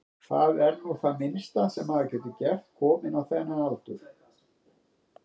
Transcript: Mýgrútur atvika, hetjuskapur og hugleysi, svik og tryggð, góðar stundir og vondar.